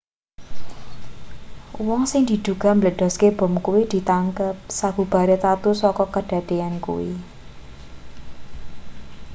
wong sing diduga mbledhoske bom kuwi ditangkep sabubare tatu saka kadadeyan kuwi